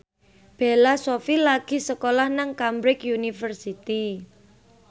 Bella Shofie lagi sekolah nang Cambridge University